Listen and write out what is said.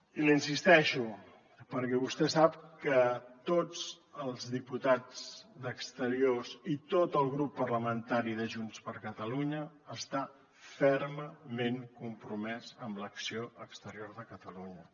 i l’hi insisteixo perquè vostè sap que tots els diputats d’exteriors i tot el grup parlamentari de junts per catalunya estan fermament compromès amb l’acció exterior de catalunya